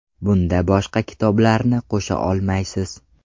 Bunda boshqa kitoblarni qo‘sha olmaysiz.